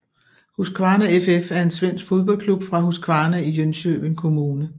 Husqvarna FF er en svensk fodboldklub fra Huskvarna i Jönköping kommune